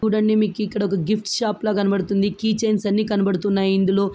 చూడండి మీకు ఒకా గిఫ్ట్ షాప్ లా కనబడుతుందికీ చైన్స్ అన్ని కనబడుతున్నాయి ఇందులో--